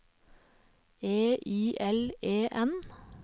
E I L E N